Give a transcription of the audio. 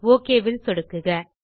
okay ல் சொடுக்குக